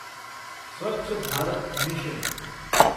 Swachh Bharat mission